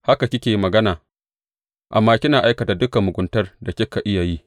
Haka kike magana, amma kina aikata dukan muguntar da kika iya yi.